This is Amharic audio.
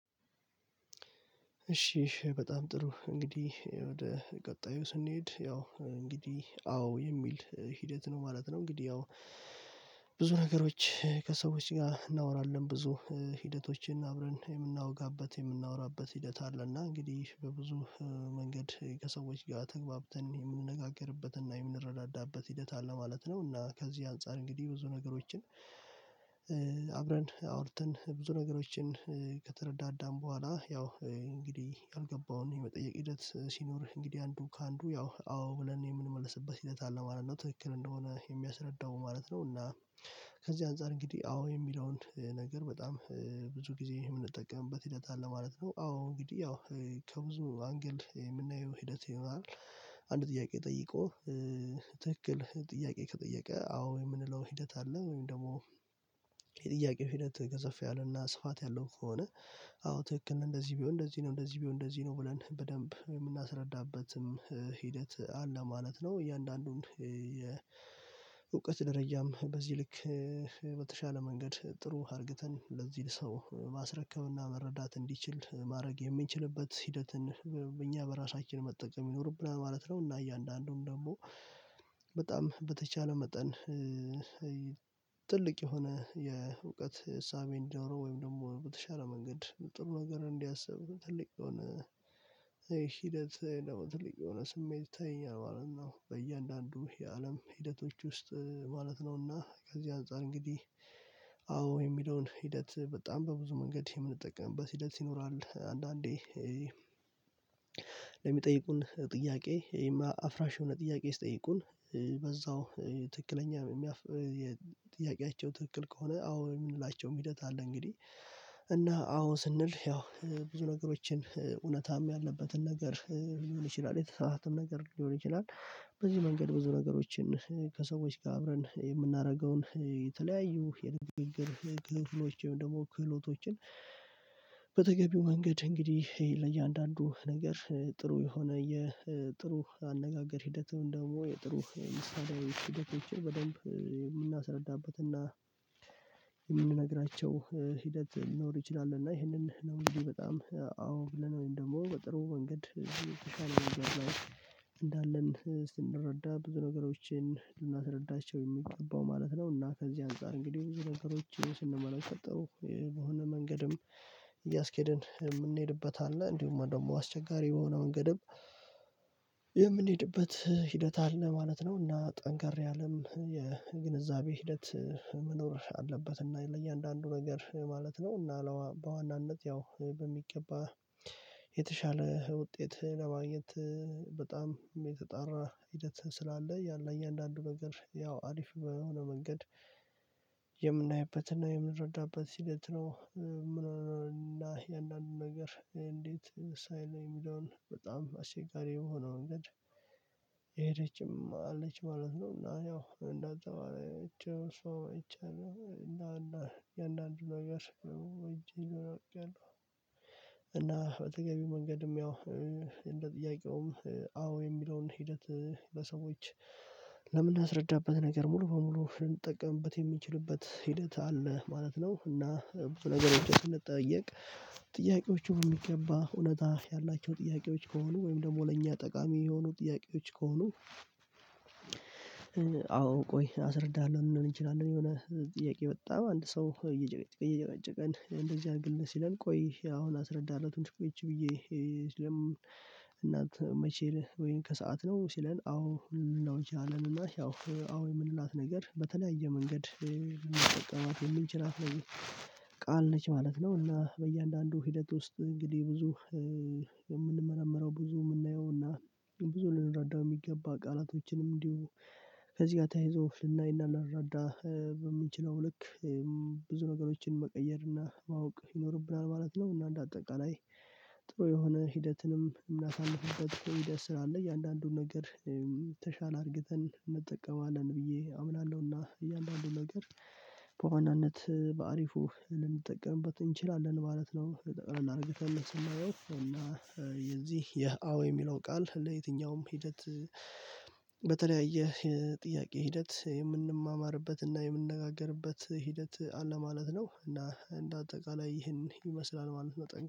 እሺ በጣም ጥሩ እንግዲህ ወደ ቀጣዩ ስንሄድ ያው እንግዲህ አዎ የሚል ሂደት ነው ማለት ነው። እንግዲህ ያው ብዙ ነገሮች ከሰዎች ጋር እናወራለን ብዙ ሂደቶችን አብረን የምናወጋበት የምናወራበት ሂደት አለና እንግዲህ በብዙ መንገድ ከሰዎች ጋር ተግባብተን የምንነጋገርበትና የምንረዳዳበት ሂደት አለ ማለት ነው። እና ከዚህ አንፃር እንግዲህ ብዙ ነገሮችን አብረን አውርተን ብዙ ነገሮችን ከተረዳዳን በኋላ ያው እንግዲህ ያልገባውን የመጠየቅ ሂደት ሲኖርህ እንግዲህ አንዱ ከአንዱ ያው አዎ ብለን የምንመልስበት ሂደት አለ ማለት ነው ትክክል እንደሆነ የሚያስረዳው ማለት ነው። እና ከዚህ አንፃር እንግዲህ አዎ የሚለውን ነገር በጣም ብዙ ጊዜ የምንጠቀምበት ሂደት አለ ማለት ነው። አዎ እንግዲህ ያው ከብዙ አንግል የምናየው ሂደት ይኖራል። አንድ ጥያቄ ጠይቆ ትክክል ጥያቄ ከጠየቀ አዎ የምንለው ሂደት አለ ወይም ደግሞ የጥያቄው ሂደት ገዘፍ ያለና ስፋት ያለው ከሆነ አዎ ትክክል እንደዚህ ቢሆን እንደዚህ ነው እንደዚህ ቢሆን እንደዚህ ነው ብለን በደንብ የምናስረዳበትም ሂደት አለ ማለት ነው። እያንዳንዱን የእውቀት ደረጃም በዚህ ልክ በተሻለ መንገድ ጥሩ አርግተን ለዚህ ሰው ማስረከብና መረዳት እንዲችል ማድረግ የምንችልበት ሂደትን እኛ በራሳችን መጠቀም ይኖርብናል ማለት ነው። እና እያንዳንዱን ደግሞ በጣም በተቻለ መጠን ትልቅ የሆነ የእውቀት እሳቤን እንዲኖረው ወይም ደግሞ በተሻለ መንገድ ጥሩ ነገር እንዲያስብ ትልቅ የሆነ ሂደት ደግሞ ትልቅ የሆነ ስሜት ይተይኛል ማለት ነው። በእያንዳንዱ የአለም ሂደቶች ውስጥ ማለት ነውና ከዚህ አንፃር እንግዲህ አዎ የሚለውን ሂደት በጣም በብዙ መንገድ የምንጠቀምበት ሂደት ይኖራል። አንዳንዴ ለሚጠይቁን ጥያቄ የማ አፍራሽ የሆነ ጥያቄ ሲጠይቁን በዛው ትክክለኛ የሚያፍ የጥያቄያቸው ትክክል ከሆነ አዎ የምንላቸው ሂደት አለ። እንግዲህ እና አዎ ስንል ያው ብዙ ነገሮችን እውነትም ያለበትን ነገር ሊሆን ይችላል የተሳሳአተም ነገር ሊሆን ይችላል። በዚህ መንገድ ብዙ ነገሮችን ከሰዎች ጋር አብረን የምናደርገውን የተለያዩ የድንንግግርል ክፍሎች ወይም ደግሞ ክህሎቶችን በተገቢው መንገድ እንግዲህ ለእያንዳንዱ ነገር ጥሩ የሆነ የጥሩ አነጋገር ሂደቱን ወይም ደግሞ የጥሩ ምሳሌያዊ ሂደቶችን በደንብ የምናስረዳበት እና የምንነግራቸው ሂደት ሊኖር ይችላል። እና ይሄንን ነው ብዬ በጣም አዎ ብለን ወይም ደግሞ በጥሩ መንገድ ተሻለ ነገር ላይ እንዳለን ስንረዳ ብዙ ነገሮችን ልናስረዳቸው የሚገባው ማለት ነው። እና ከዚህ አንፃር እንግዲህ ብዙ ነገሮችን ስንመለከተው በሆነ መንገድም እያስኬደን የምንሄድበት አለ እንዲሁም ደግሞ አስቸጋሪ የሆነ መንገድም የምንሄድበት ሂደት አለ ማለት ነው። እና ጠንካራ ያለም የግንዛቤ ሂደት መኖር አለበት እና ለእያንዳንዱ ነገር ማለት ነው። እና በዋናነት ያው በሚገባ የተሻለ ውጤት ለማግኘት በጣም የተጣራ ሂደት ስላለ ያለ እያንዳንዱ ነገር ያው አሪፍ በሆነ መንገድ የምናይበትና የምንረዳበት ሂደት ነው። እና የእንዳንዱ ነገር እንዴት ሳይል የሚለውን በጣም አስቸጋሪ የሆነው እንግዲህ የሄደችው እማ አለች ማለት ነው። እና ያው እንዳትተዋለችው እሷ ጨው እና እና የአንዳንዱ ነገር ጨው እና በተገቢው መንገድም ያው እንደ ጥያቄውም አዎ የሚለውን ሂደት ለሰዎች ለምን የምናስረዳበት ነገር ሙሉ በሙሉ ልንጠቀምበት የሚችልበት ሂደት አለ ማለት ነው። እና በነገሮች ስንጠየቅ ጥያቄዎቹ የሚገባ እውነታ ያላቸው ጥያቄዎች ከሆኑ ወይም ደግሞ ለእኛ ጠቃሚ የሆኑ ጥያቄዎች ከሆኑ አዎ ቆይ አስረዳሃለሁ ልንለው እንችላለን። የሆነ ጥያቄ በጣም አንድ ሰው እየጨቀጨቀን እንደዚህ አድርግልን ሲለን ቆይ አሁን አስረዳሃለሁ ትንሽ ቁጭ ብዬ እና መቼ ነው ወይም ከሰአት ነው ሲለን አዎ ነው ይቻለን እና ያው አዎ የምንላት ነገር በተለያየ መንገድ ልንጠቀማት የምንችላት ነው። ቃል ነች ማለት ነው። እና በእያንዳንዱ ሂደት ውስጥ እንግዲህ ብዙ የምንመረምረው ብዙ የምናየው እና ብዙ ልንረዳው የሚገባ ቃላቶችንም እንዲሁ ከዚህ ጋር ተያይዞ ልናይና ልንረዳ በምንችለው ልክ ብዙ ነገሮችን መቀየር እና ማወቅ ይኖርብናል ማለት ነው። እና እንደ አጠቃላይ ጥሩ የሆነ ሂደትንም የምናሳልፍበት ሂደት ስራ አለ እያንዳንዱን ነገር የተሻለ አድርገን እንጠቀማለን ብዬ አምናለሁና እያንዳንዱ ነገር በዋናነት በአሪፉ ልንጠቀምበት እንችላለን ማለት ነው። በጠቅላላ አድርገን ስናየው የዚህ የአዎ የሚለው ቃል ለየትኛውም ሂደት በተለያየ የጥያቄ ሂደት የምንማማርበትና እና የምንነጋገርበት ሂደት አለ ማለት ነው። እና እንደ አጠቃላይ ይህን ይመስላል ማለት ነው